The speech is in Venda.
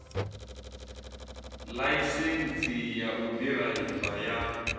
ḽaisentsi ya u ḓiraiva ya